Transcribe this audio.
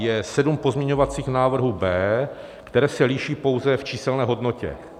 Je sedm pozměňovacích návrhů B, které se liší pouze v číselné hodnotě.